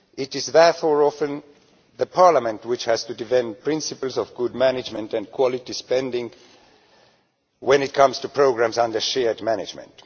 Therefore, it is often Parliament which has to defend the principles of good management and quality spending when it comes to programmes under shared management.